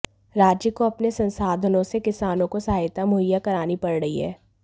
राज्य को अपने संसाधनों से किसानों को सहायता मुहैया करानी पड़ रही है